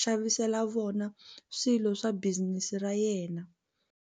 xavisela vona swilo swa business ra yena.